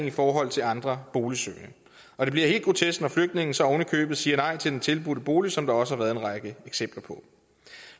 i forhold til andre boligsøgende og det bliver helt grotesk når flygtninge så ovenikøbet siger nej til den tilbudte bolig som der også har været en række eksempler på